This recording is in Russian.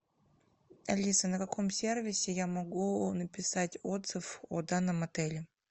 алиса на каком сервисе я могу написать отзыв о данном отеле